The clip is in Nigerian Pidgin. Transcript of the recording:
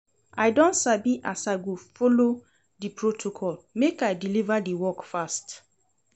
I don sabi as I go take folo di protocol make I deliver di work fast.